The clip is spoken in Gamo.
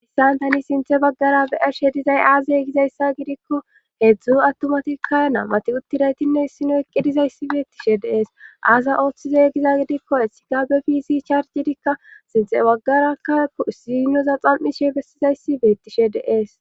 Issan tani sinthe baggara be arshe dizay aazee gizayssa gidikko heedzdzu attumatikka nammati uttidaytinne issino eqqidizayssi beettishe deees aaza ooththizey giza gidikko essi gabe fisi charjidikka sinte baggarakka ziinoza xam7ishe bessizayssi beettishe deees.